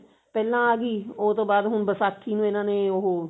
ਪਹਿਲਾਂ ਆਗੀ ਉਹਤੋਂ ਬਾਅਦ ਹੁਣ ਵਿਸਾਖੀ ਨੂੰ ਇਹਨਾਂ ਨੇ ਉਹ